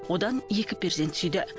одан екі перзент сүйді